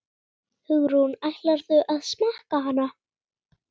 Hugrún: Ætlarðu að smakka hana?